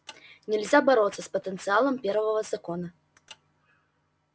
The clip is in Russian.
нельзя бороться с потенциалом первого закона